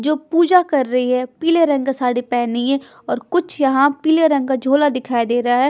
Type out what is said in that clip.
जो पूजा कर रही है पीले रंग का साड़ी पहनी है और कुछ यहाँ पीले रंग का झोला दिखाई दे रहा है।